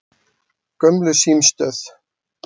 Gömlu símstöð